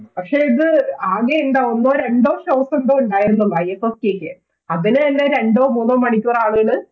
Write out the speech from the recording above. പക്ഷേ ഇത് ആകെയുള്ളത് ഒന്നോ രണ്ടോ Stock എന്തോ ഉണ്ടായിരുന്നുള്ളൂ i f f k ക്ക് അതിനു തന്നെ ഒന്നോ രണ്ടോ മണിക്കൂർ ആളുകൾ